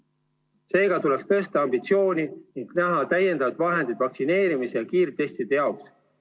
Seega tuleks tõsta ambitsiooni ning näha ette täiendavad vahendid vaktsineerimise ja kiirtestide jaoks.